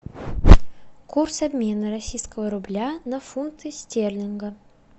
курс обмена российского рубля на фунты стерлинга